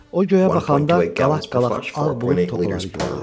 O göyə baxanda qalaq-qalaq ağ bulud topaları gördü.